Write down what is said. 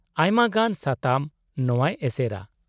-ᱟᱭᱢᱟᱜᱟᱱ ᱥᱟᱛᱟᱢ ᱱᱚᱶᱟᱭ ᱮᱥᱮᱨᱟ ᱾